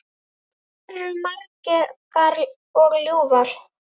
Þær eru margar og ljúfar.